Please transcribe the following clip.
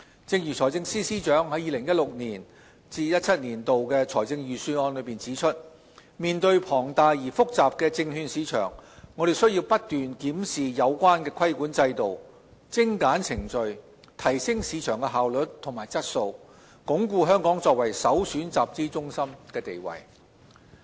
正如財政司司長在 2016-2017 年度財政預算案中指出，面對龐大而複雜的證券市場，我們須不斷檢視有關規管制度、精簡程序、提升市場效率和質素，鞏固香港作為首選集資中心的地位。